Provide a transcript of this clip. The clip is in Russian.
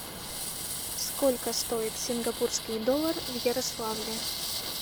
сколько стоит сингапурский доллар в ярославле